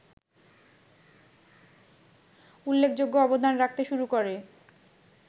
উল্লেখযোগ্য অবদান রাখতে শুরু করে